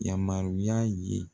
Yamaruya ye